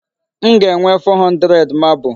M ga-enwe 400 marble.